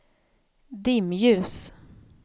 dimljus